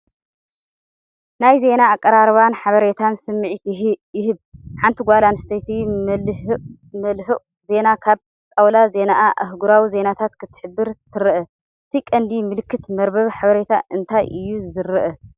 ናይ ዜና ኣቀራርባን ሓበሬታን ስምዒት ይህብ። ሓንቲ ጓል ኣንስተይቲ መልህቕ ዜና ካብ ጣውላ ዜናኣ ኣህጉራዊ ዜናታት ክትሕብር ትረአ። እቲ ቀንዲ ምልክት መርበብ ሓበሬታ እንታይ እዩ ዝረአ?